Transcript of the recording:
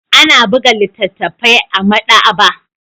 Ana buga littattafai a maɗaba'a